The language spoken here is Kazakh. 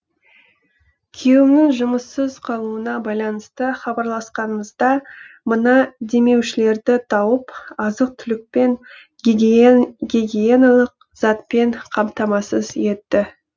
күйеуімнің жұмыссыз қалуына байланысты хабарласқанымызда мына демеушілерді тауып азық түлікпен гигиеналық затпен қамтамасыз етті